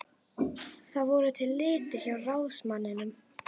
Það voru til litir hjá ráðsmanninum.